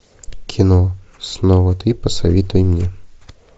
кино снова ты посоветуй мне